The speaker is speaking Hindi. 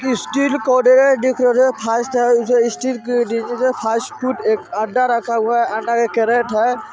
यहाँ एक स्ट्रीट फूड कॉर्नर हैअड्डा है स्ट्रीट फूड कॉर्नर का अड्डा है।